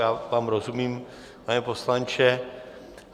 Já vám rozumím, pane poslanče.